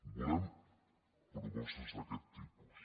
volem propostes d’aquest tipus